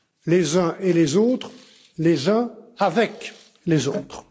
Les uns et les autres, les uns avec les autres.